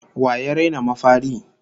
Wa ya raina mafari?